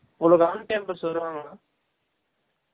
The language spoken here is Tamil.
உங்கலுக்கு on campus வருவாங்கலா